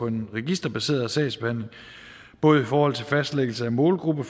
en registerbaseret sagsbehandling både i forhold til fastlæggelse af målgruppen